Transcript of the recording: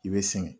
I bɛ singɛ